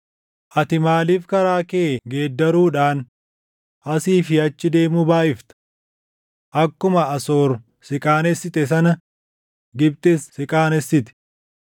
Ati maaliif karaa kee geeddaruudhaan, asii fi achi deemuu baayʼifta? Akkuma Asoor si qaanessite sana Gibxis si qaanessiti.